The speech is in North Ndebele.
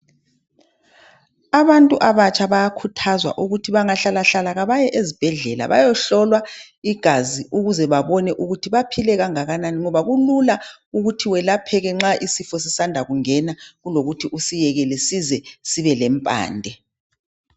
Abantu abatsha bayakhuthazwa ukuthi bangahlalahlala kabaye ezibhedlela bayehlola igazi ukuze babone ukuthi baphile kangakanani ngoba kulula ukuthe welapheke nxa isifo sisanda kungena kulokuthi usekele size sibe lempande.